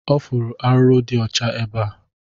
Ọ fụrụ arụrụ dị ọcha ebea